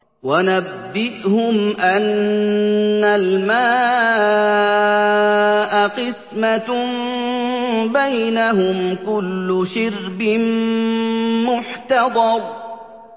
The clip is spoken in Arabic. وَنَبِّئْهُمْ أَنَّ الْمَاءَ قِسْمَةٌ بَيْنَهُمْ ۖ كُلُّ شِرْبٍ مُّحْتَضَرٌ